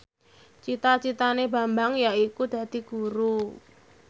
cita citane Bambang yaiku dadi guru